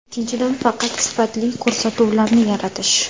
Ikkinchidan, faqat sifatli ko‘rsatuvlarni yaratish.